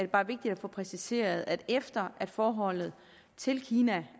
bare vigtigt at få præciseret at efter at forholdet til kina